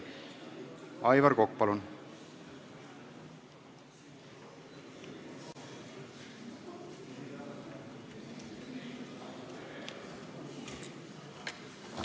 Aivar Kokk, palun!